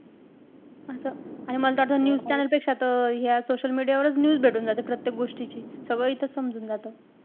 असं. आणि मला त वाटतं news channel पेक्षा त हे असं social media वरच news भेटून जाते प्रत्येक गोष्टीची. सगळं इथंच समजून जातं.